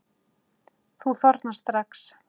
Þú þornar strax.